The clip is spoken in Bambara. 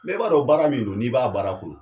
Mɛ i b'a dɔn baara min don, n'i b'a baara kɔnɔ.